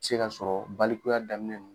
Se ka sɔrɔ balikuya daminɛ.